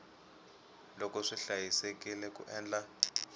loko swi hlayisekile ku endla